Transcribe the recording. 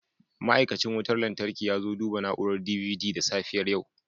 Ma'aikacin wutar lantarki ya zo duba na'urar DVD da safiyar yau